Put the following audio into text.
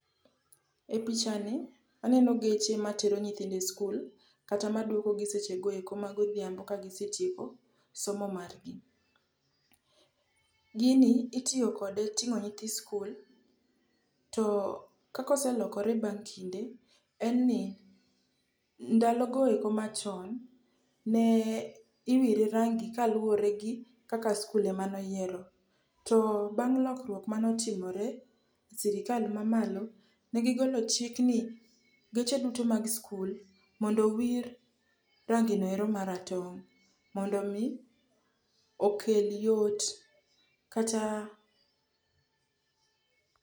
E pichani aneno geche matero nyithindo e skul kata maduokogi sechego eko magodhiambo ka gisetieko somo mar gi. Gini itiyo kode e ting'o nyithi skul. To kaka oselokore bang' kinde, en ni ndalogo eko machon, ne iwire rangi kaluore gi kaka skul ema noyiero. To bang' lokruok manotimore e sirkal mamalo, ne gigolo chik ni geche duto mag skul mondo owir range noero maratong' mondo mi okel yot kata....